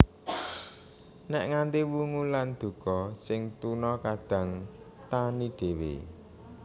Nèk nganti wungu lan duka sing tuna kadang tani dhéwé